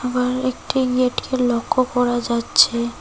আবার একটি গেটকে লক্ষ্য করা যাচ্ছে।